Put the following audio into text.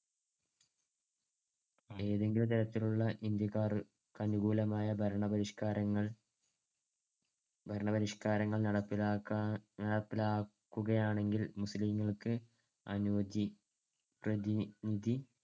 ഏതെങ്കിലും തരത്തിലുള്ള ഇന്ത്യക്കാർക്കനുകൂലമായ ഭരണപരിഷ്‌ക്കാരങ്ങൾ ഭരണപരിഷ്‌ക്കാരങ്ങൾ നടപ്പിലാക്കാൻ~ നടപ്പിലാക്കുകയാണെങ്കിൽ മുസ്ലീംങ്ങൾക്ക് അനുവദി~ പ്രതിനിധി